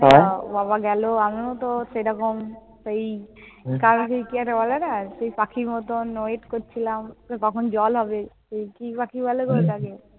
বাবা গেল। আমিও তো সেরকম সেই কি একটা বলে না, পাখির মত wait করছিলাম, যে কখন জল হবে। সে কি পাখি বলে গো ওটাকে?